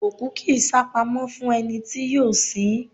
òkú kì í sápamọ́ fún ẹni tí yóò sin ín